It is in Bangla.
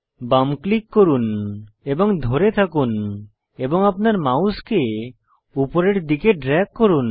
বাম ক্লিক করুন এবং ধরে থাকুন এবং আপনার মাউস উপরের দিকে ড্রেগ করুন